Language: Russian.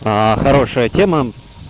хорошая тема